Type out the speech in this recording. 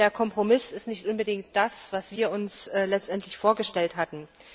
Der Kompromiss ist nicht unbedingt das, was wir uns letztendlich vorgestellt hatten.